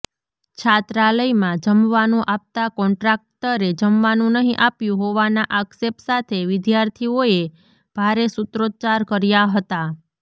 છાત્રાલયમાં જમવાનું આપતા કોન્ટ્રાકટરે જમવાનું નહીં આપ્યું હોવાના આક્ષેપ સાથે વિદ્યાર્થીઓએ ભારે સૂત્રોચ્ચાર કર્યા હતા